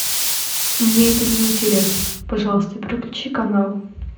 мне это не интересно пожалуйста переключи канал